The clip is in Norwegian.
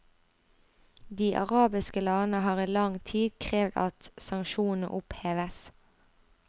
De arabiske landene har i lang tid krevd at sanksjonene oppheves.